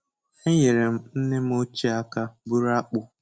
E nyere m nne m ochie aka buru akpụ.